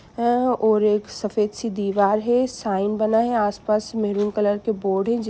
हाँ और एक सफेद सी दिबार है साइन बना है आस पास मैरुन कलर के बोर्ड है।